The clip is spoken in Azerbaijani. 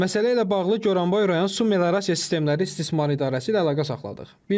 Məsələ ilə bağlı Goranboy rayon su meliorasiya sistemləri istismar idarəsi ilə əlaqə saxladıq.